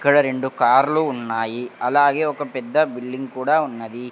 ఇక్కడ రెండు కార్లు లు ఉన్నాయి అలాగే ఒక పెద్ద బిల్డింగ్ కూడా ఉన్నది.